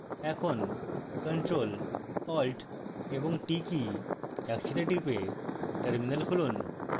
এখন ctrl + alt + t কী একসাথে টিপে terminal খুলুন